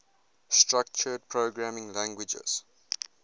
structured programming languages